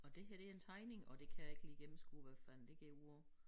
Og det her det en tegning og det kan jeg ikke lige gennemskue hvad fanden det går ud på